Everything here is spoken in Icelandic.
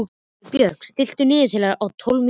Freybjörn, stilltu niðurteljara á tólf mínútur.